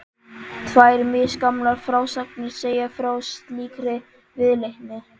Tvær misgamlar frásagnir segja frá slíkri viðleitni.